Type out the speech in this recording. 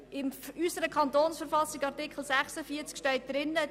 In unserer Kantonsverfassung, Artikel 46, steht eben: